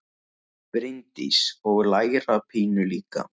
Bryndís: Og læra pínu líka?